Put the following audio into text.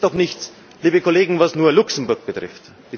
Es ist doch nichts, liebe Kollegen, was nur Luxemburg betrifft.